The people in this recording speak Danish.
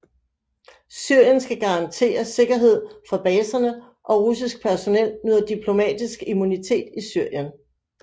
Syrien skal garantere sikkerhed for baserne og russisk personel nyder diplomatisk immunitet i Syrien